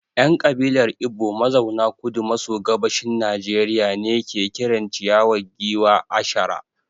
‘Yan kabilar Igbo mazauna Kudu maso Gabashin Najeriya ne ke kiran ciyawa giwa ‘achara’